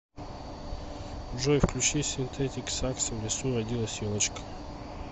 джой включи синтетиксакс в лесу родилась елочка